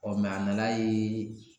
Ɔ mɛ a nan'a yee